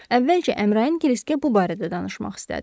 Əvvəlcə Əmrayın Kriskə bu barədə danışmaq istədi.